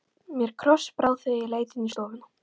Mér krossbrá þegar ég leit inn í stofuna.